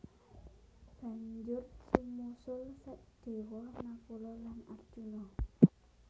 Banjur sumusul Sadewa Nakula lan Arjuna